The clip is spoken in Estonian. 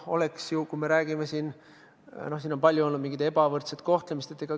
Samas siin on palju olnud ebavõrdset kohtlemist.